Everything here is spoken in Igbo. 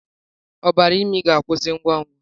Ọbara imi ga-akwụsị ngwa ngwa.